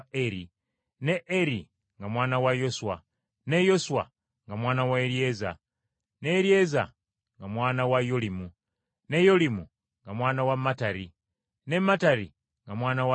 ne Eri nga mwana wa Yoswa, ne Yoswa nga mwana wa Eryeza, ne Eryeza nga mwana wa Yolimu, ne Yolimu nga mwana wa Mattati, ne Mattati nga mwana wa Leevi,